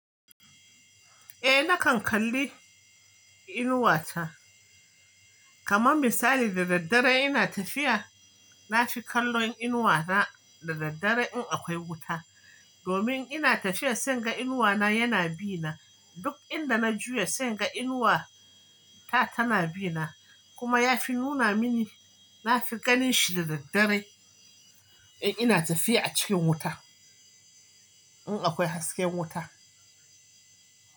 Eh nakan kalli inuwa ta, kamar misali da daddare ina tafiya, na fi kallon inuwa na da daddare in akwai wuta. Domin ina tafiya sai in ga inuwa na yana bi na. Duk inda na juya sai inga inuwa ta tana bi na. Kuma ya fi nuna mini, na fi ganin shi da daddare in ina tafiya a cikin wuta, in akwai hasken wuta.